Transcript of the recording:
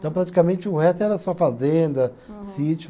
Então, praticamente, o resto era só fazenda, sítio.